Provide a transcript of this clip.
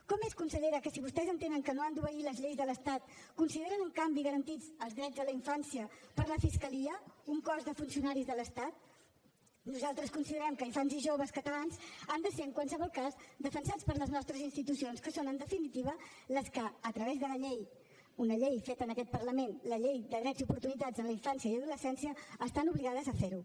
com és consellera que si vostès entenen que no han d’obeir les lleis de l’estat consideren en canvi garantits els drets de la infància per la fiscalia un cos de funcionaris de l’estat nosaltres considerem que infants i joves catalans han de ser en qualsevol cas defensats per les nostres institucions que són en definitiva les que a través de la llei una llei feta en aquest parlament la llei dels drets i les oportunitats en la infància i adolescència estan obligades a fer ho